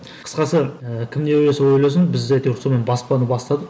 қысқасы ыыы кім не ойласа ол ойласын біз әйтеуір сонымен баспаны бастадық